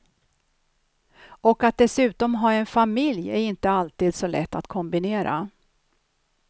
Och att dessutom ha en familj är inte alltid så lätt att kombinera.